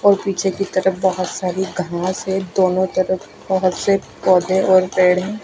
और पीछे की तरफ बहोत सारी घास है दोनों तरफ बहोत से पौधे और पेड़ है।